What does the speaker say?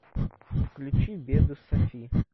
включи беды софи